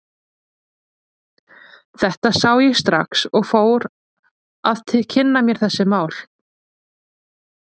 Þetta sá ég strax og ég fór að kynna mér þessi mál.